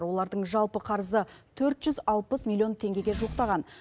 олардың жалпы қарызы төрт жүз алпыс миллион теңгеге жуықтаған